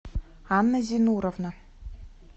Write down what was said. анна зинуровна